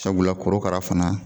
Sabula korokara fana